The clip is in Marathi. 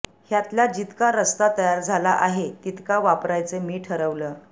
ह्यातला जितका रस्ता तयार झाला आहे तितका वापरायचं मी ठरवलं